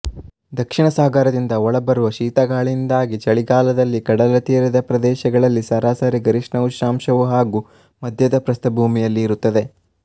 ದಕ್ಷಿಣ ಸಾಗರದಿಂದ ಒಳಬರುವ ಶೀತಗಾಳಿಯಿಂದಾಗಿ ಚಳಿಗಾಲದಲ್ಲಿ ಕಡಲ ತೀರದ ಪ್ರದೇಶಗಳಲ್ಲಿ ಸರಾಸರಿ ಗರಿಷ್ಠ ಉಷ್ಣಾಂಶವು ಹಾಗೂ ಮಧ್ಯದ ಪ್ರಸ್ಥಭೂಮಿಯಲ್ಲಿ ಇರುತ್ತದೆ